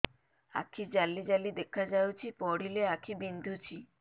ଆଖି ଜାଲି ଜାଲି ଦେଖାଯାଉଛି ପଢିଲେ ଆଖି ବିନ୍ଧୁଛି